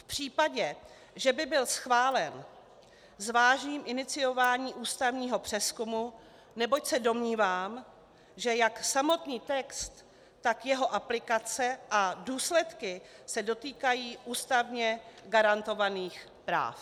V případě, že by byl schválen, zvážím iniciování ústavního přezkumu, neboť se domnívám, že jak samotný text, tak jeho aplikace a důsledky se dotýkají ústavně garantovaných práv.